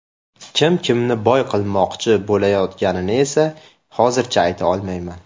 Kim kimni boy qilmoqchi bo‘layotganini esa hozircha ayta olmayman.